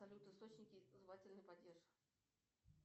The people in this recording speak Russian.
салют источники звательный падеж